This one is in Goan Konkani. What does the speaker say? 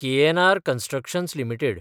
KNR Constructions limited